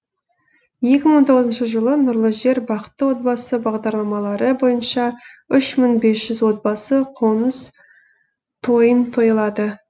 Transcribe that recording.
екі мың он тоғызыншы жылы нұрлы жер бақытты отбасы бағдарламалары бойынша үш мың бес жүз отбасы қоныс тойын тойлады